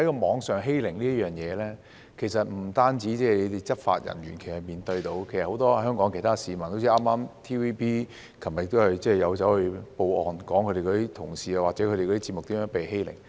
網上欺凌不單是執法人員面對的問題，其實很多香港市民，例如 TVB 昨天亦報案，指出其同事或節目如何被欺凌。